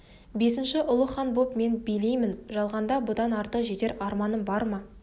бесінші ұлы хан боп мен билеймін жалғанда бұдан артық жетер арман бар ма